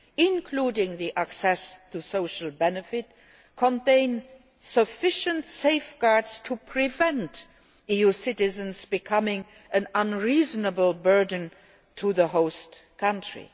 including access to social benefits, contain sufficient safeguards to prevent EU citizens becoming an unreasonable burden on the host country.